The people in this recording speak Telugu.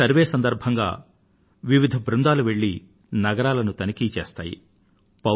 ఈ సర్వే సందర్భంగా వివిధ జట్లు వెళ్లి నగరాలను తనిఖీ చేస్తాయి